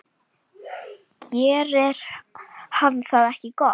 Gerir hann það ekki gott?